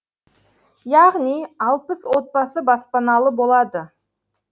яғни алпыс отбасы баспаналы болады